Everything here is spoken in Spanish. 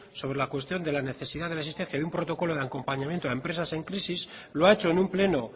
sobre la cuestión de la necesidad de la existencia de un protocolo en el acompañamiento a empresas en crisis lo ha hecho en un pleno